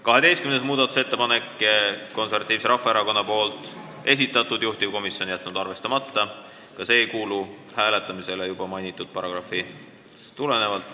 12. muudatusettepaneku on esitanud Eesti Konservatiivne Rahvaerakond, juhtivkomisjon on jätnud arvestamata, ka see ei kuulu hääletamisele juba mainitud paragrahvist tulenevalt.